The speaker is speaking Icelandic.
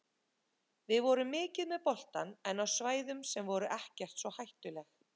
Við vorum mikið með boltann en á svæðum sem voru ekkert svo hættuleg.